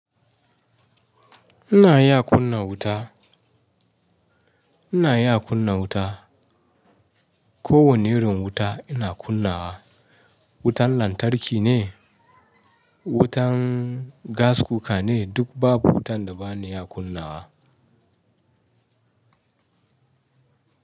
Ina ya kunna wuta? Ina ya kunna wuta? Ko wane irin wuta ina kunnawa. Wutan lantarki ne, wutan gas cooker ne duk babu wutan da ba ni ya kunnawa.